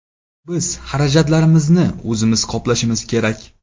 Biz xarajatlarimizni o‘zimiz qoplashimiz kerak.